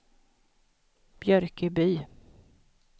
Björköby